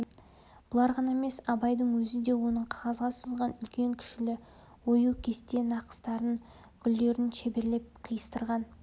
бұлар ғана емес абайдың өзі де оның қағазға сызған үлкен-кішілі ою кесте нақыстарын гүлдерін шеберлеп қиыстырған